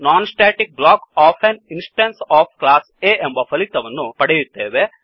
non static block of an instance of class A ಎಂಬ ಫಲಿತವನ್ನು ಪಡೆಯುತ್ತೇವೆ